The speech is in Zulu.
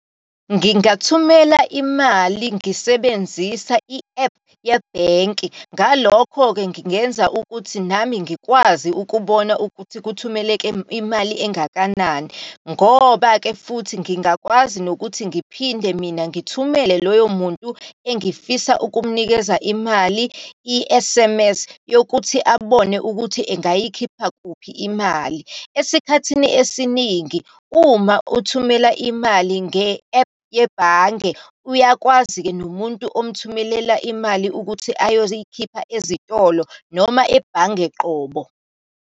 Ngingathumela imali ngisebenzisa i-ephu yebhenki. Ngalokho-ke, ngingenza ukuthi nami ngikwazi ukubona ukuthi kuthumeleke imali engakanani. Ngoba-ke futhi ngingakwazi nokuthi ngiphinde mina ngithumele loyo muntu engifisa ukumnikeza imali i-S_M_S yokuthi abone ukuthi engayikhipha kuphi imali. Esikhathini esiningi uma uthumela imali nge-ephu yebhange, uyakwazi-ke nomuntu umthumelela imali ukuthi ayoyikhipha ezitolo noma ebhange qobo.